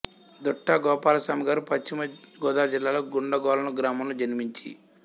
దుట్టా గోపాలస్వామి గారు పశ్చిమ గోదావరి జిల్లాలోని గుండుగొలను గ్రామములో జన్మించి